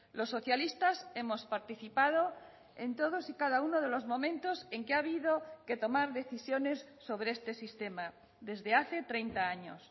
los socialistas hemos participado en todos y cada uno de los momentos en que ha habido que tomar decisiones sobre este sistema desde hace treinta años